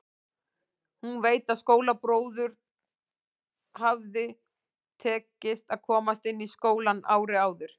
Hún veit að skólabróður hafði tekist að komast inn í skólann árið áður.